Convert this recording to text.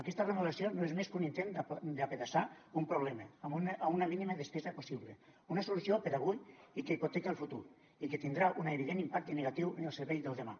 aquesta remodelació no és més que un intent d’apedaçar un problema amb una mínima despesa possible una solució per a avui i que hipoteca el futur i que tindrà un evident impacte negatiu en el servei del demà